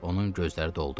Onun gözləri doldu.